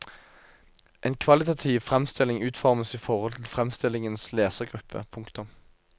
En kvalitativ fremstilling utformes i forhold til fremstillingens lesergruppe. punktum